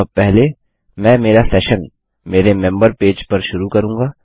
अतः पहले मैं मेरा सेशन मेरे मेंबर पेज पर शुरू करूँगा